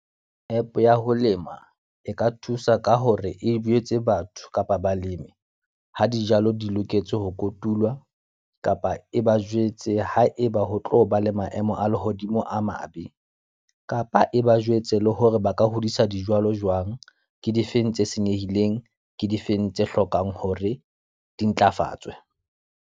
App ya ho lema, e ka thusa ka hore e jwetse batho kapa balemi ha dijalo di loketse ho kotulwa. Kapa e ba jwetse ha eba ho tlo ba lemang maemo a lehodimo a mabe. Kapa e ba jwetse le hore ba ka hodisa dijwalo jwang. Ke difeng tse senyehileng, ke difeng tse hlokang hore di ntlafatswe.